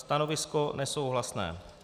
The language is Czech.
Stanovisko nesouhlasné.